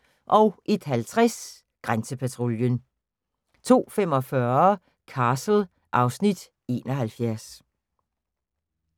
01:50: Grænsepatruljen 02:45: Castle (Afs. 71)